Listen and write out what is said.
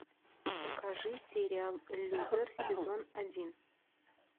покажи сериал лютер сезон один